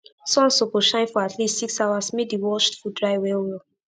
sun suppose shine for at least 6 hours make d washed food dry well well